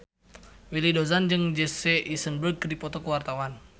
Willy Dozan jeung Jesse Eisenberg keur dipoto ku wartawan